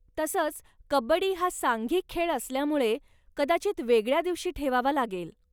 तसंच कब्बडी हा सांघिक खेळ असल्यामुळे, कदाचित वेगळ्या दिवशी ठेवावा लागेल.